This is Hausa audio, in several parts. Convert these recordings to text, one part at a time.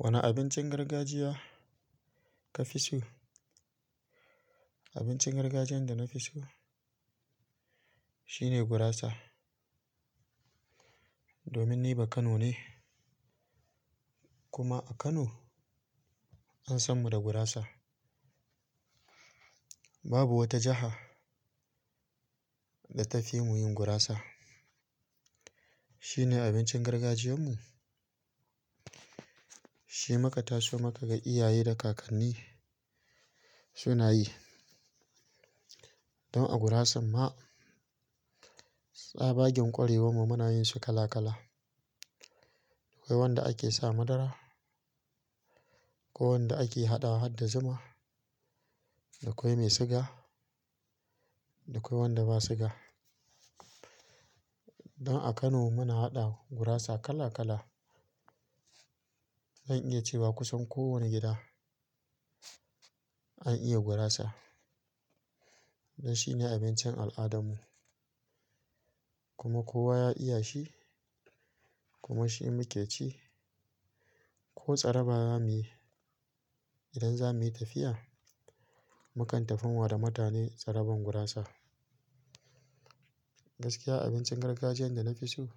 Wane abincin gargajiya ka fi so? Abincin gargajiyan da na fi so shine gurasa. Domin ni ba Kano ne kuma a Kano an san mu da gurasa. Babu wata jaha da ta fi mu yin gurasa. Shine abincin gargajiyan mu, shi maka tasu maka ga iyaye da kakanni su nayi. Don a gurasan ma tsabagen ƙwarewan mu muna yin shi kala kala. Akoi wanda ake sa madara, ko wanda ake haɗawa har da zuma, da koi mai sugar da koi wanda ba sugar. Don a Kano muna haɗa gurasa kala kala. Zan iya cewa kusan ko woni gida an iya gurasa. Don shine abincin al'adan mu kuma kowa ya iya shi kuma shi muke ci. Ko tsaraba zamuyi, idan zamuyi tafiya, mu kan tafan wa da mutane tsaraban gurasa. Gaskiya abincin gargajiyan da na fi so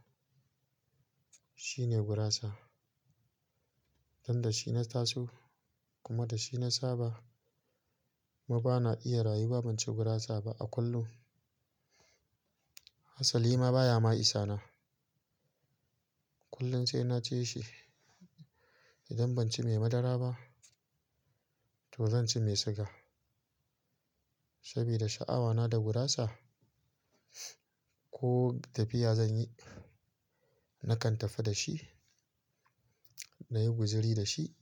shine gurasa. Don da shi na taso kuma da shi na saba. Kuma bana iya rayuwa ban ci gurasa ba a kullum. Hassali ma baya ma isa na. Kullum sai na ci shi idan ban ci mai madara ba to zan ci mai siga. Sabida sha'awa na da gurasa ko tafiya zanyi, na kan tafi da shi na yi guzuri da shi.